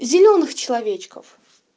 зелёных человечков